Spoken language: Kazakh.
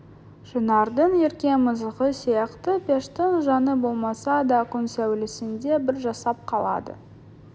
шынардың ерке мысығы сияқты пештің жаны болмаса да күн сәулесінде бір жасап қалады